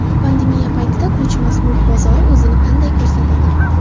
Pandemiya paytida ko‘chmas mulk bozori o‘zini qanday ko‘rsat di?